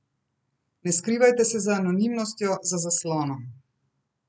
Ne skrivajte se za anonimnostjo, za zaslonom.